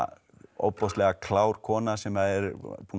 ofboðslega klár kona sem er